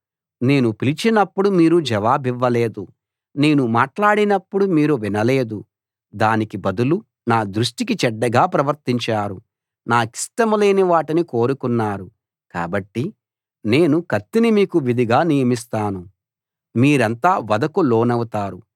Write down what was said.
నేను పిలిచినప్పుడు మీరు జవాబివ్వలేదు నేను మాట్లాడినప్పుడు మీరు వినలేదు దానికి బదులు నా దృష్టికి చెడ్డగా ప్రవర్తించారు నాకిష్టం లేని వాటిని కోరుకున్నారు కాబట్టి నేను కత్తిని మీకు విధిగా నియమిస్తాను మీరంతా వధకు లోనవుతారు